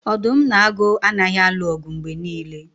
Odum na agu anaghị alụ ọgụ mgbe niile